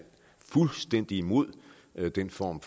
fuldstændig imod den form